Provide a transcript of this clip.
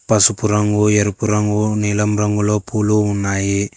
పసుపు రంగు ఎరుపు రంగు ఓ నీలం రంగులో పూలు ఉన్నాయి.